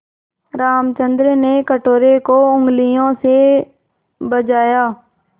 रामचंद्र ने कटोरे को उँगलियों से बजाया